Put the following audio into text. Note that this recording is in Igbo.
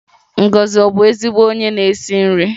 Ngozi ọ̀ bụ ezigbo onye na-esi nri?